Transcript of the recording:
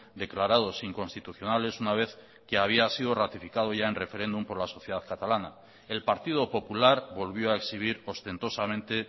declarados inconstitucionales una vez que había sido ratificado ya en referéndum por la sociedad catalana el partido popular volvió a exhibir ostentosamente